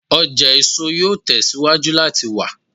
Ọja eso yoo tẹsiwaju lati wa